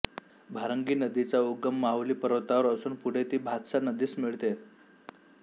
भारंगीनदीचा उगम माहुली पर्वतावर असून पुढे ती भातसा नदीस मिळते